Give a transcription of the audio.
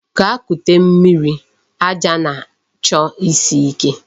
Gaa kute mmiri, aja na-chọ isi ike.